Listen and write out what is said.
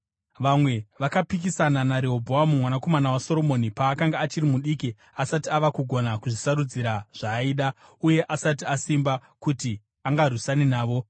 Vamwe vakapikisana naRehobhoamu mwanakomana waSoromoni paakanga achiri mudiki asati ava kugona kuzvisarudzira zvaaida uye asati asimba kuti angarwisana navo.